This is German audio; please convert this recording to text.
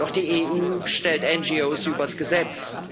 Doch die EU stellt NGOs übers Gesetz.